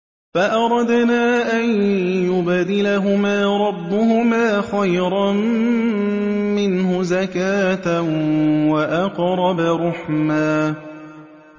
فَأَرَدْنَا أَن يُبْدِلَهُمَا رَبُّهُمَا خَيْرًا مِّنْهُ زَكَاةً وَأَقْرَبَ رُحْمًا